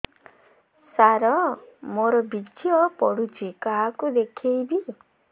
ସାର ମୋର ବୀର୍ଯ୍ୟ ପଢ଼ୁଛି କାହାକୁ ଦେଖେଇବି